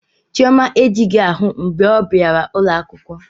Chioma ejighị ahụ mgbe ọ bịara ụlọ akwụkwọ